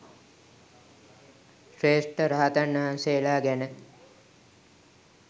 ශ්‍රේෂ්ඨ රහතන් වහන්සේලා ගැන